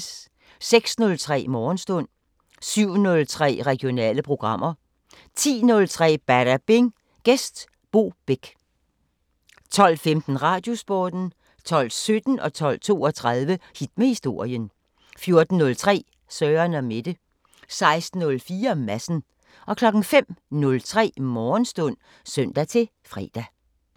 06:03: Morgenstund 07:03: Regionale programmer 10:03: Badabing: Gæst Bo Bech 12:15: Radiosporten 12:17: Hit med historien 12:32: Hit med historien 14:03: Søren & Mette 16:04: Madsen 05:03: Morgenstund (søn-fre)